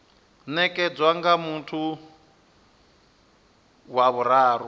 nekedzwa nga muthu wa vhuraru